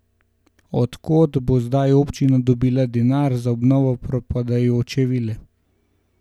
Od kod bo zdaj občina dobila denar za obnovo propadajoče vile?